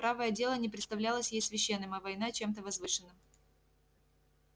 правое дело не представлялось ей священным а война чем-то возвышенным